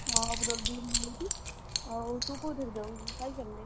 ହଁ problem ହଉଚି। ଆଉ ତୁ କୋଉଥିରେ ଯାଉ cycle ରେ?